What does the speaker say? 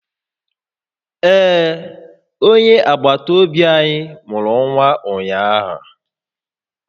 Ee, onye agbata obi anyị mụrụ nwa ụnyaahụ